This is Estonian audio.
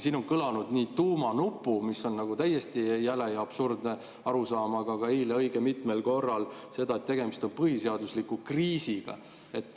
Siin on kõlanud nii sõna "tuumanupp", mis on täiesti jäle ja absurdne arusaam, kui ka eile õige mitmel korral seda, et tegemist on põhiseadusliku kriisiga.